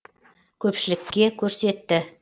көпшілікке көрсетті